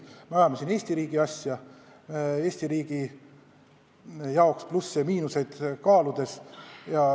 Me ajame siin Eesti riigi asja, Eesti riigi jaoks plusse ja miinuseid kaaludes.